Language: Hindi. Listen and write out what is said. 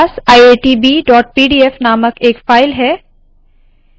मेरे पास iitbpdf नामक एक फाइल है